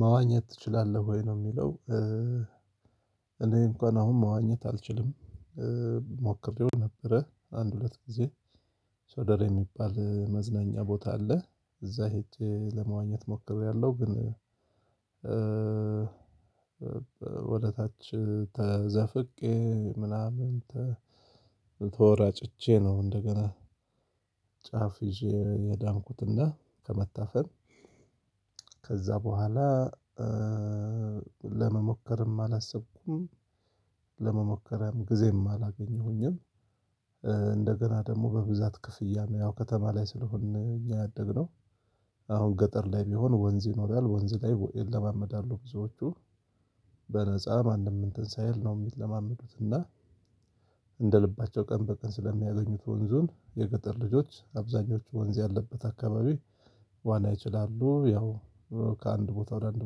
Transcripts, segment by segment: ማዋኘት ትችላለህ ወይ ነው የሚለው? እኔ እንኳን አሁን ማዋኘት አልችልም። ሞክሬው ነበረ አንድ ሁለት ጊዜ። ሶደሬ የሚባል መዝናኛ ቦታ አለ እዛ ሄጄ ለመዋኘት ሞክሬያለሁ። ግን ወደ ታች ተዘፍቄ ምናምን ተወራጭቼ ነው። እንደገና ጫፍ ይዤ የዳንኩትና ከመታፈን ከዛ በኋላ ለመሞከርም አላሰብኩም። ለመሞከርም ጊዜም አላገኘሁኝም። እንደገና ደግሞ በብዛት ክፍያ ያው ከተማ ላይ ስለሆንን እኛ ያደግነው። አሁን ገጠር ላይ ቢሆን ወንዝ ይኖራል ወንዝ ላይ ይለማመዳሉ ብዙዎቹ። በነፃ ማንም እንትን ሳይል ነው የሚለማመዱት። እና እንደ ልባቸው ቀን በቀን ስለሚያገኙት ወንዙን የገጠር ልጆች አብዛኞቹ ወንዝ ያለበት አከባቢ ዋና ይችላሉ። ያው ከአንድ ቦታ ወደ አንድ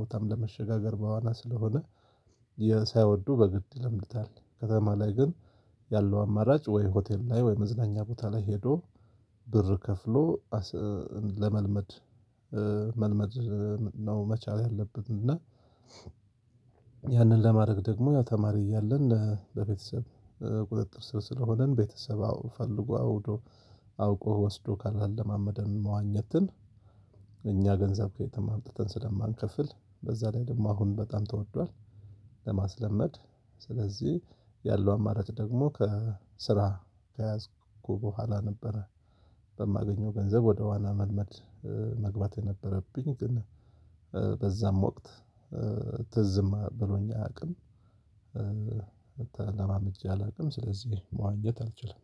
ቦታም ለመሸጋገር በዋና ስለሆነ ሳይወዱ በግድ ይለምዱታል። ከተማ ላይ ግን ያለው አማራጭ ወይ ሆቴል ላይ ወይ መዝናኛ ቦታ ላይ ሄዶ ብር ከፍሎ ለመልመድ መልመድ ነው። መቻል ያለብን እና። ያንን ለማድረግ ደግሞ ያው ተማሪ እያለን ለቤተሰብ ቁጥጥር ስር ስለሆነን ቤተሰብ ፈልጎ አውቆ ወስዶ ካላለማመደን መዋኘትን እኛ ገንዘብ ከየትም አምጥተን ስለማንከፍል በዛ ላይ ደግሞ አሁን በጣም ተወዷል። ለማስለመድ ስለዚህ ያለው አማራጭ ደግሞ ከስራ ከያዝኩ በኋላ ነበረ። በማገኘው ገንዘብ ወደ ዋና መልመድ መግባት የነበረብኝ ግን። በዛም ወቅት ት ዝም ብሎኝ አያውቅም ተለማምጄ አላውቅም። ስለዚህ መዋኘት አልችልም።